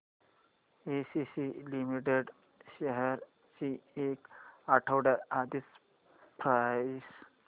ACC limited shares ची एक आठवड्या आधीची प्राइस